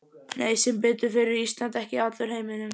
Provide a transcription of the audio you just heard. Nei, sem betur fer er Ísland ekki allur heimurinn.